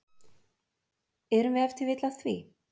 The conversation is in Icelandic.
Erum við ef til vill að því?